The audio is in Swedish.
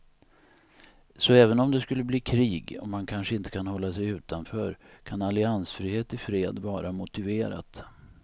Så även om det skulle bli krig och man kanske inte kan hålla sig utanför kan alliansfrihet i fred vara motiverat.